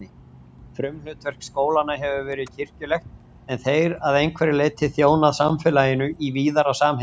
Frumhlutverk skólanna hefur verið kirkjulegt en þeir að einhverju leyti þjónað samfélaginu í víðara samhengi.